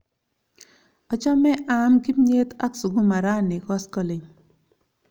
Achame aam kimnyet ak sukuma rani koskoling'